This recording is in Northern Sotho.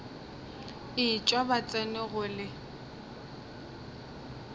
etšwa ba tsena go le